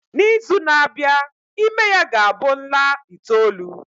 N'izu na-abịa, ime ya ga-abụ nla itoolu.